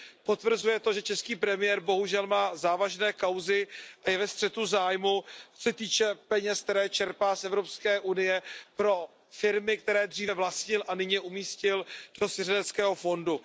Potvrzuje to, že český premiér bohužel má závažné kauzy a je ve střetu zájmů, co se týče peněz, které čerpá z Evropské unie pro firmy, které dříve vlastnil a nyní je umístil do svěřeneckého fondu.